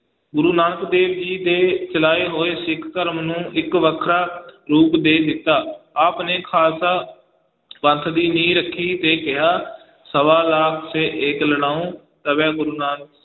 ਗੁਰੂ ਨਾਨਕ ਦੇਵ ਜੀ ਦੇ ਚਲਾਏ ਹੋਏ ਸਿੱਖ ਧਰਮ ਨੂੰ ਇੱਕ ਵੱਖਰਾ ਰੂਪ ਦੇ ਦਿੱਤਾ, ਆਪ ਨੇ ਖਾਲਸਾ ਪੰਥ ਦੀ ਨੀਂਹ ਰੱਖੀ ਤੇ ਕਿਹਾ ਸਵਾ ਲਾਖ ਸੇ ਏਕ ਲੜਾਊਂ ਤਬੈ ਗੁਰੂ